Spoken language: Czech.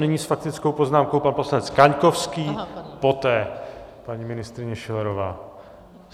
Nyní s faktickou poznámkou pan poslanec Kaňkovský, poté paní ministryně Schillerová.